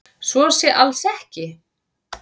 Svo sé alls ekki